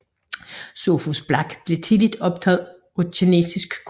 Sophus Black blev tidligt optaget af kinesisk kultur